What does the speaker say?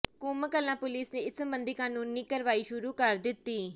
Koom Kalan police ਨੇ ਇਸ ਸਬੰਧੀ ਕਾਨੂੰਨੀ ਕਾਰਵਾਈ ਸ਼ੁਰੂ ਕਰ ਦਿੱਤੀ ਹੈ